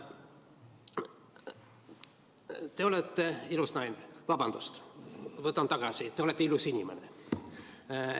Te olete ilus naine – vabandust, võtan tagasi, te olete ilus inimene.